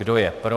Kdo je pro.